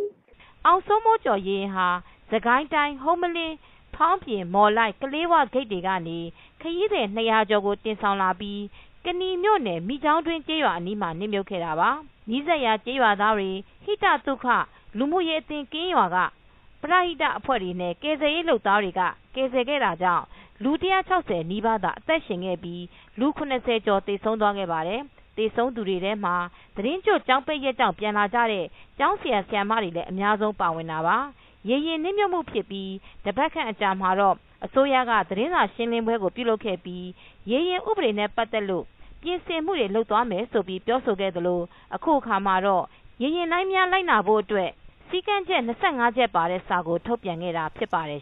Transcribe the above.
” အောင်စိုးမိုးကျော်ရေယာဉ်ဟာ စစ်ကိုင်းတိုင်း ဟုမ္ပလင်း-ဖောင်းပြင်-မော်လိုက်-ကလေး၀ ဂိတ်ကနေ ခရီးသည် ၂၀၀ကျော် တင်ဆောင်လာပြီး ကနီမြို့နယ် မီးချောင်းတွင်းကျေးရွာအနီးမှာ နစ်မြုပ်ခဲ့တာပါ။ နီးစပ်ရာကျေးရွာသားတွေနဲ့ ဟိတသုခလူမူရေးအသင်း၊ ကင်းရွာပရဟိတအဖွဲ့တွေ နဲ့ ကယ်ဆယ်ရေးလုပ်သားတွေက ကယ်ဆယ်ခဲ့တာကြောင့် လူ ၁၆၀ နီးပါးသာ အသက်ရှင်ခဲ့ပြီး လူ၇၀ကျော်သေဆုံးသွားခဲ့ပါတယ်။ သေဆုံးသူတွေထဲမှာ သီတင်းကျွတ် ကျောင်းပိတ်ရက်ပြန်လာကြတဲ့ ကျောင်းဆရာဆရာမတွေအများဆုံးပါဝင်တာပါ။ ရေယာဉ်နစ်မြုပ်မူဖြစ်ပြီး တပတ်ခန်အကြာမှာတော့ အစိုးရကသတင်းစာရှင်းလင်းပွဲကို ပြုလုပ်ခဲ့ပြီး ရေယာဉ်ဥပဒေနဲ့ ပတ်သက်လို့ ပြင်ဆင်မူတွေလုပ်သွားမယ်လို့ ပြောဆိုခဲ့သလို အခုအခါမှာ ရေယာဉ်လိုင်းများလိုက်နာဖို့ အတွက်စည်းကမ်းချက် ၂၅ ချက်ပါတဲ့စာကိုထုတ်ပြန်ခဲ့တာဖြစ်ပါတယ်